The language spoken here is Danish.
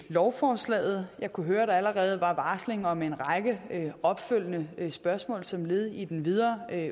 lovforslaget jeg kunne høre at der allerede var varsling om en række opfølgende spørgsmål som led i den videre